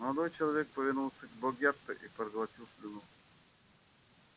молодой человек повернулся к богерту и проглотил слюну